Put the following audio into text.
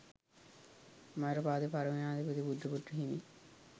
මයුරපාද පරිවෙණාධිපති බුද්ධපුත්‍රහිමි